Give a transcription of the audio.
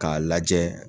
K'a lajɛ